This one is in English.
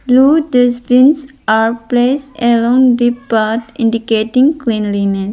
Blue dustbins are placed along the path indicating cleanliness.